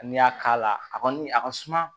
N'i y'a k'a la a kɔni a ka suma